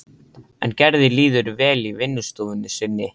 En Gerði líður vel í vinnustofunni sinni.